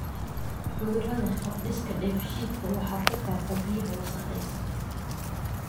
Cudurada hab-dhiska dheefshiidka waxa ku faafa biyaha wasakhaysan.